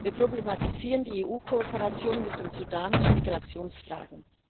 Wir problematisieren die EU Kooperation mit dem Sudan zu Migrationsfragen.